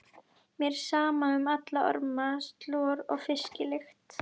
Mér er sama um alla orma, slor og fisklykt.